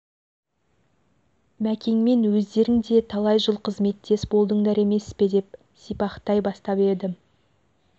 мәкеңмен өздерің де талай жыл қызметтес болдыңдар емес пе деп сипақтай бастап едім